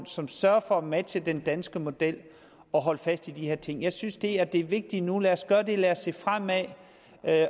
som sørger for at matche den danske model og holde fast i de her ting jeg synes det er det vigtige nu lad os gøre det lad os se fremad